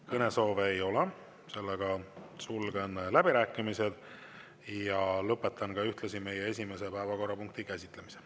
Kõnesoove ei ole, sulgen läbirääkimised ja lõpetan ka ühtlasi meie esimese päevakorrapunkti käsitlemise.